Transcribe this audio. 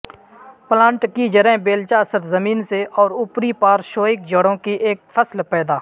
plant کی جڑیں بیلچہ سرزمین سے اور اوپری پارشوئک جڑوں کی ایک فصل پیدا